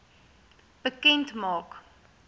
bekend maak